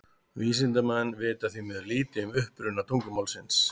Vísindamenn vita því miður lítið um uppruna tungumálsins.